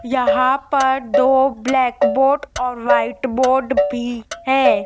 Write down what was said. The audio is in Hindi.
यहां पर दो ब्लैक बोट और व्हाइट बोर्ड भी है।